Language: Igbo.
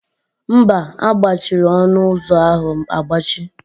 Mba, a gbachiri ọnụ ụzọ ahụ agbachi.